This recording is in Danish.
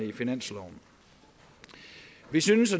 i finansloven vi synes